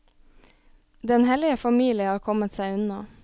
Den hellige familie har kommet seg unna.